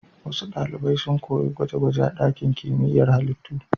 Wasu ɗalibai sun koyi gwaje-gwaje a ɗakin kimiyyar halittu.